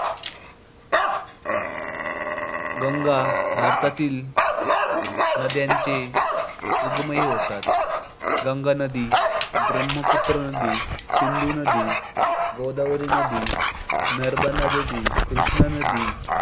गंगा भारतातील, नदयांची उगमही होतात. गंगा नदी, ब्रह्मपुत्र नदी, सिंधू नदी, गोदावरी नदी, नर्मदा नदी, कृष्ण नदी